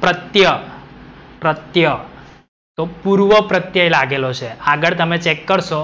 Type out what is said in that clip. પ્રત્ય, પ્રત્ય તો પૂર્વપ્રત્યય લાગેલો છે. આગડ તમે ચેક કરશો,